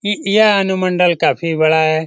ई यह अनुमंडल काफी बड़ा है।